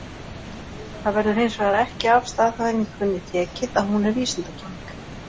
Það verður hins vegar ekki af staðhæfingunni tekið að hún er vísindakenning.